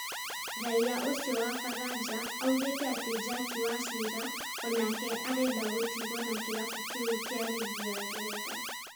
Raia ũcio wa faraja augĩte atĩ Jack Wachira onake arenda gũtigwo na kĩrabu kĩu kĩa rigi ya Ngeretha